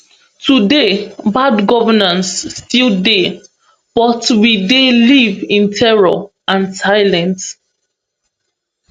today bad governance still dey but we dey live in terror and silence